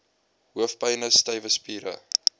hoofpyne stywe spiere